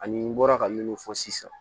Ani n bɔra ka minnu fɔ sisan